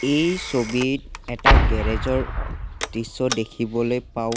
এই ছবিত এটা গেৰেজ ৰ দৃশ্য দেখিবলৈ পাওঁ।